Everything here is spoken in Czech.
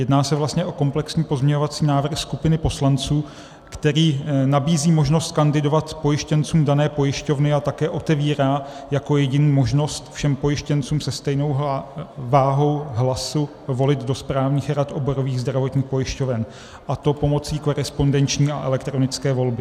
Jedná se vlastně o komplexní pozměňovací návrh skupiny poslanců, který nabízí možnost kandidovat pojištěncům dané pojišťovny a také otevírá jako jediný možnost všem pojištěncům se stejnou vahou hlasu volit do správních rad oborových zdravotních pojišťoven, a to pomocí korespondenční a elektronické volby.